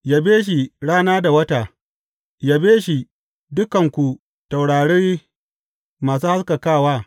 Yabe shi, rana da wata, yabe shi, dukanku taurari masu haskakawa.